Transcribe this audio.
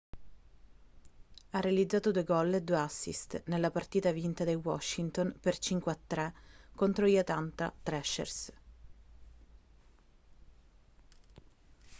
ha realizzato 2 gol e 2 assist nella partita vinta dai washington per 5-3 contro gli atlanta thrashers